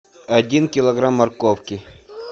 один килограмм морковки